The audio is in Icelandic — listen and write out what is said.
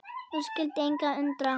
Og skyldi engan undra.